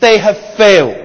They have failed.